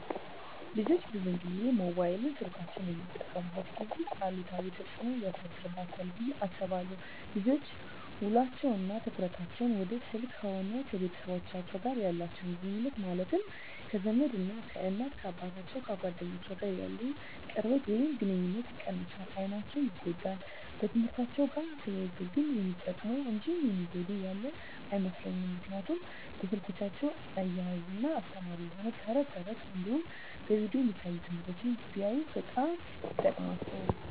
ልጆች ብዙን ጊዜ ሞባይል ስልኮችን በሚጠቀሙበት ጊዜ አሉታዊ ተፅዕኖ ያሳድርባቸዋል ብየ አስባለሁ። ልጆች ውሎቸው እና ትኩረታቸውን ወደ ስልክ ከሆነ ከቤተሰቦቻቸው ጋር ያላቸውን ግኑኙነት ማለትም ከዘመድ፣ ከእናት አባቶቻቸው፣ ከጓደኞቻቸው ጋር ያለውን ቅርበት ወይም ግኑኝነት ይቀንሳል፣ አይናቸው ይጎዳል፣ በትምህርትአቸው ጋር ተያይዞ ግን የሚጠቅሙ እንጂ የሚጎዳቸው ያለ አይመስለኝም ምክንያቱም በስልኮቻቸው እያዝናና አስተማሪ የሆኑ ተረት ተረቶች እንዲሁም በቪዲዮ የሚታዩ ትምህርቶችን ቢያዩ በጣም ይጠቅማቸዋል።